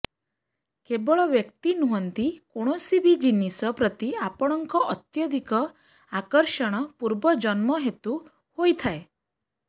କେବଳ ବ୍ୟକ୍ତି ନୁହଁନ୍ତି କୌଣସି ବି ଜିନିଷ ପ୍ରତି ଆପଣଙ୍କ ଅତ୍ୟଧିକ ଆକର୍ଷଣ ପୂର୍ବଜନ୍ମ ହେତୁ ହୋଇଥାଏ